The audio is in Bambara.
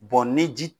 ni ji